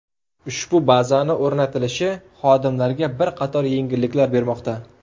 Ushbu bazani o‘rnatilishi xodimlarga bir qator yengilliklar bermoqda.